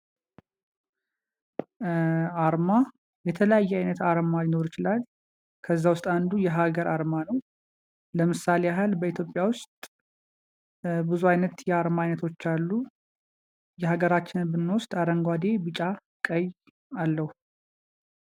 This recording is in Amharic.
አርማ የተለያየ አይነት አርማ ሊኖር ይችላል። ከዛ ዉስጥ አንዱ የሀገር አርማ ነዉ። ለምሳሌ ያህል በሀገራችን ኢትዮጵያ ዉስጥ ብዙ አይነት የአርማ አይነቶች አሉ። የአገራችንን ብንወስድ አረንጓዴ ቢጫ ቀይ አለዉ።